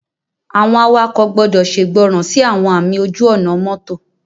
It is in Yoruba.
Àwọn awakọ̀ gbọ́dọ̀ ṣègbọràn sí àwọn ààmì ojú-ọ̀nà mọ́tò